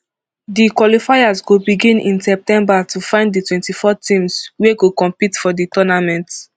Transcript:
di qualifiers go begin in september to find di twenty-four teams wia go compete for di tournament